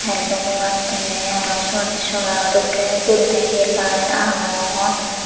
tel dugebatte aro sut sollar o dokkin guriney he light agon.